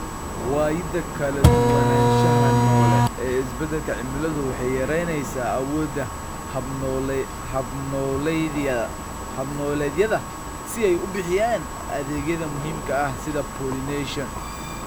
Waayida kala duwanaanshaha noole ee isbeddelka cimiladu waxay yaraynaysaa awoodda hab-nololeedyada si ay u bixiyaan adeegyada muhiimka ah, sida pollination.